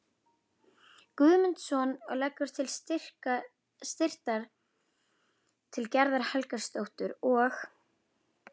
Guðmundsson og leggur til að styrkir til Gerðar Helgadóttur og